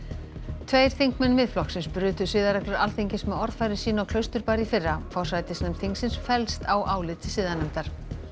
tveir þingmenn Miðflokksins brutu siðareglur Alþingis með orðfæri sínu á Klausturbar í fyrra forsætisnefnd þingsins fellst á álit siðanefndar